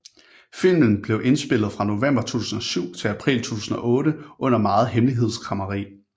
Filmen blev indspillet fra november 2007 til april 2008 under meget hemmelighedskræmmeri